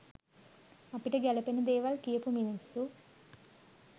අපිට ගැලපෙන දේවල් කියපු මිනිස්සු.